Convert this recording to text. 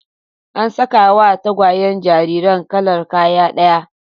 An sakawa tagwayen jariran kalar kaya ɗaya